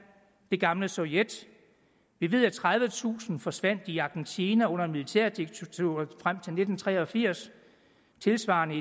det gamle sovjet vi ved at tredivetusind forsvandt i argentina under militærdiktaturet frem til nitten tre og firs og tilsvarende